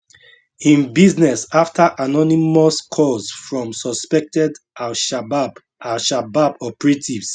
im business afta anonymous calls from suspected alshabab alshabab operatives